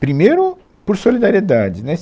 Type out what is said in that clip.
Primeiro, por solidariedade. Né